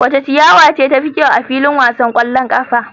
Wace ciyawa ce tafi kyau a filin wasan kwallon kafa?